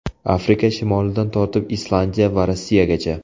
Afrika shimolidan tortib Islandiya va Rossiyagacha.